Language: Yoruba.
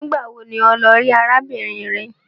Nigbawo ní o ló rí arábìnrin rè?